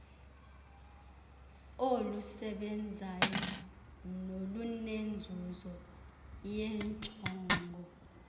olusebenzayo nolunenzuzo yeenjongo